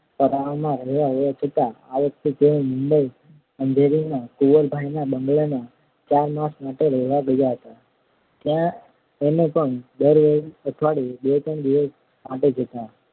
પરાઓમાં રહેવા જતા આ વખતે તેઓ મુંબઈ અંધેરીમાં કુંવરબાઈના બંગલામાં ચાર માસ માટે રહેવા ગયા હતા ત્યાં અમે પણ દર અઠવાડિયે બે ત્રણ દિવસ માટે જતા